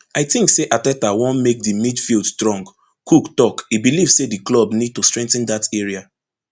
i tink say arteta wan make di midfield strong cook tok e believe say di club need to strengthen dat area